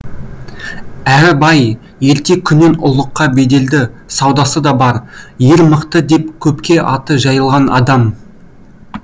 әрі бай ерте күннен ұлыққа беделді саудасы да бар ер мықты деп көпке аты жайылған адам